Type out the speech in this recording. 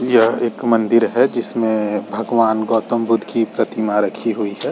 यह एक मंदिर है। जिसमे भगवान गौतम बुद्ध की प्रतिमा रखी हुई है।